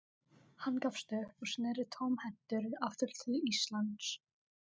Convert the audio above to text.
Hann gafst upp og sneri tómhentur aftur til Íslands.